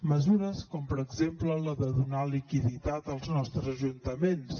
mesures com per exemple la de donar liquiditat als nostres ajuntaments